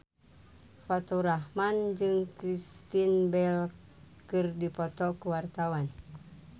Faturrahman jeung Kristen Bell keur dipoto ku wartawan